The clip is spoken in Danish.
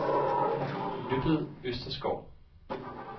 Nøbbet Østerskov